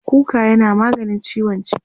kuka yana maganin ciwon ciki